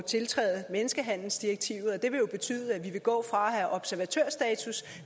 tiltræde menneskehandelsdirektivet og det vil betyde at vi vil gå fra at have observatørstatus